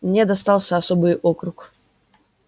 мне достался особый округ